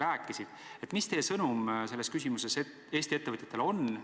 Mis on teie sõnum selles küsimuses Eesti ettevõtjatele?